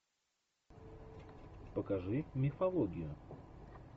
покажи мифологию